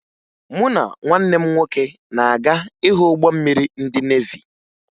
Mụ na nwanne m nwoke na-aga ịhụ ụgbọ mmiri ndị nevi